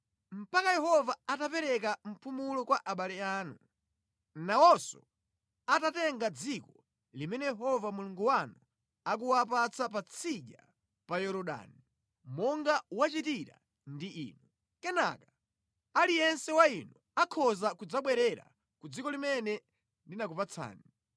mpaka Yehova atapereka mpumulo kwa abale anu, nawonso atatenga dziko limene Yehova Mulungu wanu akuwapatsa patsidya pa Yorodani, monga wachitira ndi inu. Kenaka, aliyense wa inu akhoza kudzabwerera ku dziko limene ndinakupatsani.”